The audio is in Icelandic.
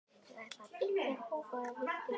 Ég ætla að byggja kofa, viltu vera með?